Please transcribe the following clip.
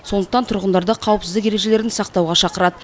сондықтан тұрғындарды қауіпсіздік ережелерін сақтауға шақырады